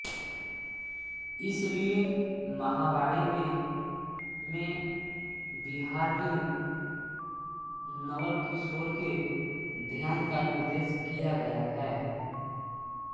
इसीलिये महावाणी में में विहारलीन नवलकिशोर के ध्यान का निर्देश किया गया है